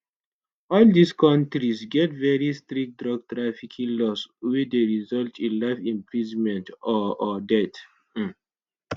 all dis kontis get very strict drug trafficking laws wey dey result in life imprisonment or or death um